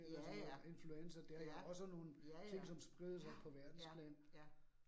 Ja ja, ja, ja ja, ja, ja, ja